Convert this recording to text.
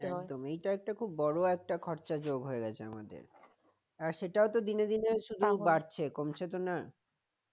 একদম এটা একটা বড় একটা খরচা যোগ হয়ে গেছে আমাদের আর সেটাও তো দিনে দিনে শুধু বাড়ছে কমছে তো না